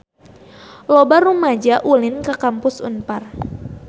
Loba rumaja ulin ka Kampus Unpar